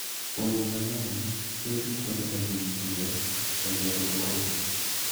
Winy mang'eny tiyo gi kuonde ma gintie e gero utegi.